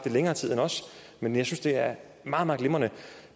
i længere tid end os men jeg synes det er meget meget glimrende